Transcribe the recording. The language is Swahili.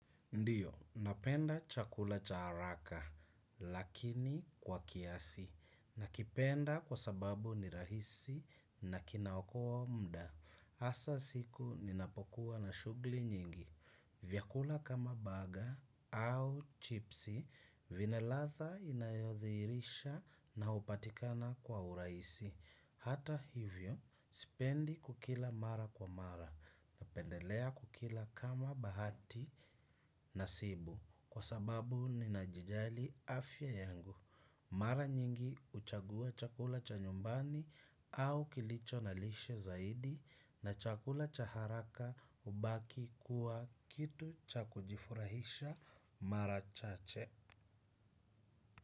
Ndiyo, napenda chakula cha haraka, lakini kwa kiasi. Nakipenda kwa sababu ni rahisi na kinaokoa mda. Hasa siku ninapokuwa na shugli nyingi. Vyakula kama baga au chipsi, vina ladha inayodhirisha na hupatikana kwa urahisi. Hata hivyo, sipendi kukila mara kwa mara. Napendelea kukila kama bahati na sibu kwa sababu ninajijali afya yangu. Mara nyingi huchagua chakula cha nyumbani au kilicho na lishe zaidi na chakula cha haraka hubaki kuwa kitu cha kujifurahisha mara chache.